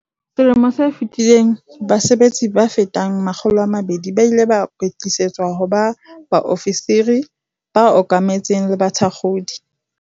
Selemong se fetileng base betsi ba fetang 200 ba ile ba kwetlisetswa ho ba baofisiri ba okametseng le bathakgodi.